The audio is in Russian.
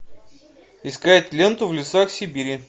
искать ленту в лесах сибири